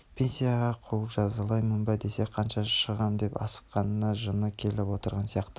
пенсияға қуып жазалаймын ба десе қашан шығам деп асыққанына жыны келіп отырған сияқты